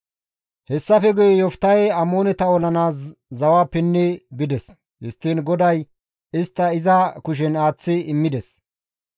Hessafe guye Yoftahey Amooneta olanaas zawa pinni bides; histtiin GODAY istta iza kushen aaththi immides.